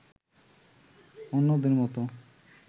অন্যদের মতো